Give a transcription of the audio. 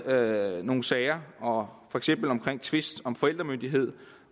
været nogle sager for eksempel omkring tvister om forældremyndigheden